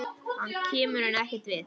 Hann kemur henni ekkert við.